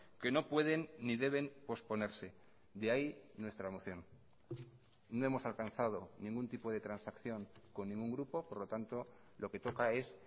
que no pueden ni deben posponerse de ahí nuestra moción no hemos alcanzado ningún tipo de transacción con ningún grupo por lo tanto lo que toca es